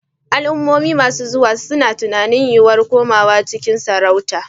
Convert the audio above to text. Al'ummomi masu zuwa suna tunanin yiwuwar komawa cikin sarauta.